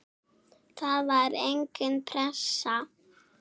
Það var engin pressa.